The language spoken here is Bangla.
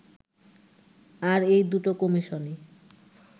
আর এই দুটো কমিশনই